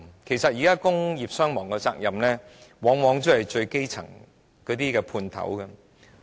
事實上，現時工業傷亡的責任，往往也是由那些最基層的"判頭"擔負。